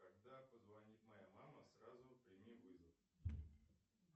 когда позвонит моя мама сразу прими вызов